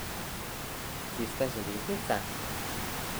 Cestna železnica?